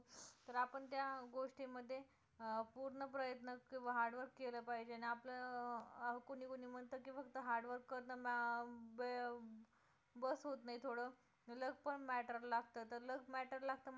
तर आपण त्या गोष्टी मध्ये अं पूर्ण प्रयत्न किंवा hard work केलं पाहिजे की आपलं कोणी कोणी म्हणते की फक्त hard work करणं बस होतं नाही थोडं luck पण matter लागतं तर luck matter लागतं मला